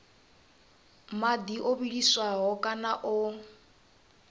madi o vhiliswaho kana o